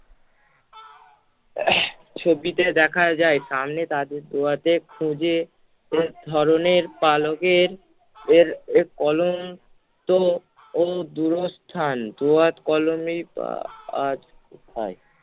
ছবিতে দেখা যায় সামনে তাদের দোয়াদে খুঁজে শেষ ধরণের পালকের এর এর কলম তো ও দূরস্থান, দোয়াদ কলমে কা~ আহ আহ